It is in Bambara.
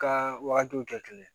Ka wagatiw kɛ kelen